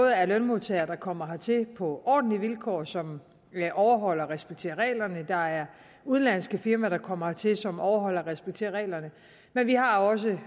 er lønmodtagere der kommer hertil på ordentlige vilkår som overholder og respekterer reglerne og der er udenlandske firmaer der kommer hertil som overholder og respekterer reglerne men vi har også